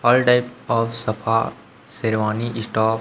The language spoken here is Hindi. हॉल टाइप ऑफ सफा शेरवानी स्टॉ--